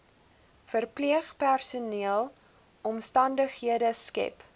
verpleegpersoneel omstandighede skep